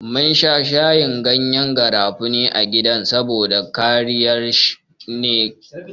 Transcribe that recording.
Muna shan shayin gyanyen garafuni a gida saboda kariya ne daga ciwon siga.